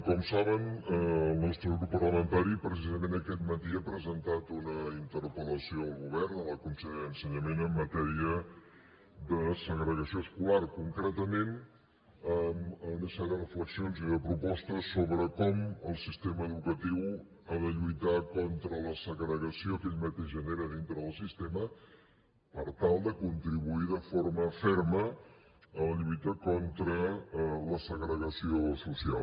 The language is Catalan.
com saben el nostre grup parlamentari precisament aquest matí ha presentat una interpel·lació al govern a la consellera d’ensenyament en matèria de segregació escolar concretament una sèrie de reflexions i de propostes sobre com el sistema educatiu ha de lluitar contra la segregació que aquest mateix genera dintre del sistema per tal de contribuir de forma ferma a la lluita contra la segregació social